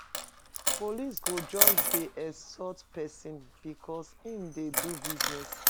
Police go just dey extort pesin because im dey do business.